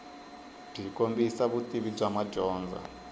byi kombisa vutivi bya madyondza